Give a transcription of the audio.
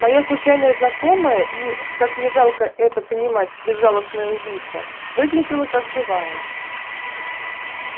моя случайная знакомая и как ни жалко это понимать безжалостная убийца выглядела как живая